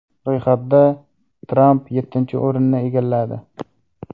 Ro‘yxatda Tramp yettinchi o‘rinni egalladi.